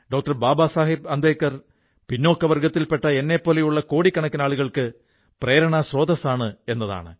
ബാബാ സാഹബ് അംബേദ്കർ പിന്നാക്ക വർഗ്ഗത്തിൽ പെട്ട എന്നെപ്പോലുള്ള കോടിക്കണക്കിനാളുകൾക്ക് പ്രേരണാസ്രോതസ്സാണ് എന്നതാണ്